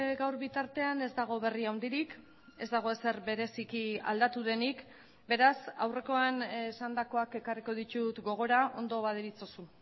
gaur bitartean ez dago berri handirik ez dago ezer bereziki aldatu denik beraz aurrekoan esandakoak ekarriko ditut gogora ondo baderitzozu